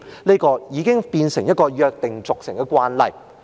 這做法已經變成一個約定俗成的慣例。